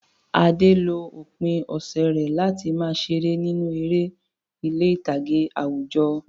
Ade lo òpin ọ̀sẹ̀ rẹ̀ láti máa ṣeré nínú eré ní ilé ìtàgé àwùjọ.